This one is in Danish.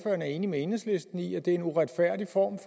er enig med enhedslisten i at det er en uretfærdig form